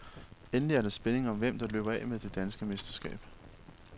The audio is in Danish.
Endelig er der spænding om hvem, der løber af med det danske mesterskab.